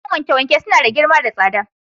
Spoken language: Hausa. Kayan wanke-wanke suna da girma da tsada.